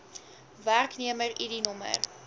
werknemer id nr